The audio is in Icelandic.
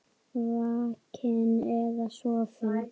Vakinn eða sofinn.